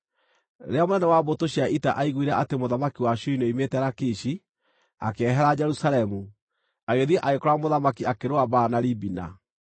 Rĩrĩa mũnene wa mbũtũ cia ita aiguire atĩ mũthamaki wa Ashuri nĩoimĩte Lakishi, akĩehera Jerusalemu, agĩthiĩ agĩkora mũthamaki akĩrũa mbaara na Libina.